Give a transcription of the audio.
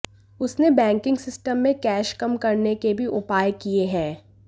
उसने banking system में cash कम करने के भी उपाय किए हैं